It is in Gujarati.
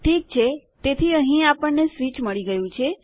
ઠીક છે તેથી અહીં આપણને સ્વીચ મળી ગયું છે